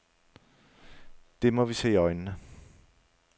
Det må vi se i øjnene.